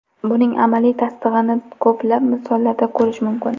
Buning amaliy tasdig‘ini ko‘plab misollarda ko‘rish mumkin.